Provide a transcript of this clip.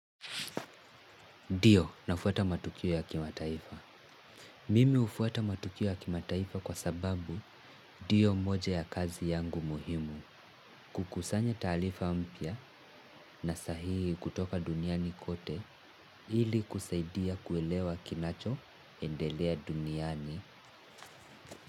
Ndio, nafuata matukio ya kimataifa. Mimi hufuata matukio ya kimataifa kwa sababu, ndio moja ya kazi yangu muhimu. Kukusanya taarifa mpya na sahihi kutoka duniani kote, ili kusaidia kuelewa kinachoendelea duniani.